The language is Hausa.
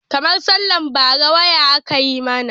Karmar sallar bara waya aka yi mana.